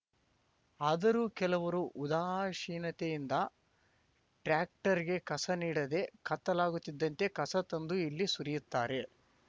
ಆದರೂ ಕೆಲವರು ಉದಾಸೀನತೆಯಿಂದ ಟ್ರ್ಯಾಕ್ಟರ್‌ಗೆ ಕಸ ನೀಡದೆ ಕತ್ತಲಾಗುತ್ತಿದ್ದಂತೆ ಕಸ ತಂದು ಇಲ್ಲಿ ಸುರಿಯುತ್ತಾರೆ